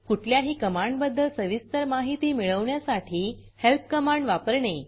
कुठल्याही कमांडबद्दल सविस्तर माहिती मिळवण्यासाठी helpहेल्प कमांड वापरणे